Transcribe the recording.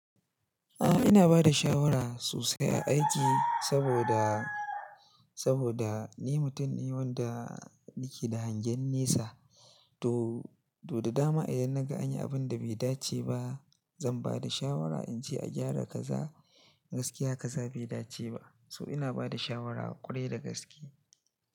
A'a ina bada shawara sosai a aiki saboda, saboda ni mutum ne wanda yake da hangen nesa to, to da dama idan naga anyi abun da bai dace ba zan bada shawara in ce a gyara kaza gaskiya kaza bai dace ba. So ina bada shawara ƙwarai da gaskiya.